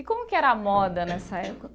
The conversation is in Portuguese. E como que era a moda nessa época?